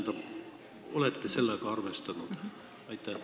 Kas olete sellega arvestanud?